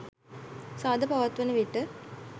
සාද පවත්වන විට